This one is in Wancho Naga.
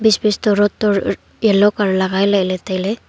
space toh road to yellow colour e lagai lele taile.